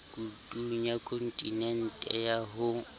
mekutung ya kontinente ya ho